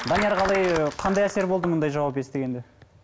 данияр қалай қандай әсер болды мынадай жауап естігенде